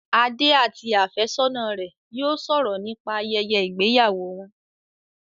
Adé àti àfẹ́sọ́nà rẹ̀ yóò sọ̀rọ̀ nípa ayẹyẹ ìgbéyàwó wọn